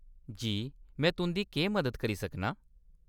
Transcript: जी, में तुंʼदा केह् मदद करी सकना आं ?